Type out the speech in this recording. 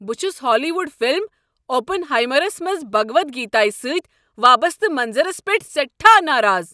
بہٕ چھس Hollywood film "اوپن ہائیمر"س منٛز بھگود گیتایہ سٕتۍ وابسطہٕ منظرس پیٹھ سیٹھاہ ناراض۔